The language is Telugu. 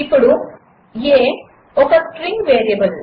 ఇప్పుడు a ఒక స్ట్రింగ్ వేరియబుల్